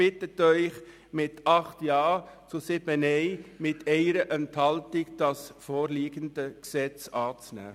Die GSoK bittet Sie mit 8 Ja- gegen 7 Nein-Stimmen bei 1 Enthaltung, das vorliegende Gesetz anzunehmen.